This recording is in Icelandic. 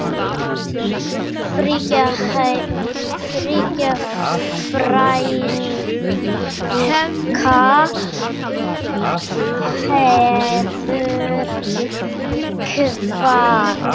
Fríða frænka hefur kvatt.